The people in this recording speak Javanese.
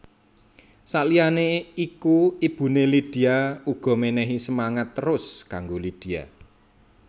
Saliyané iku ibuné Lydia uga menehi semangat terus kanggo Lydia